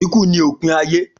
Iku ni opin aye.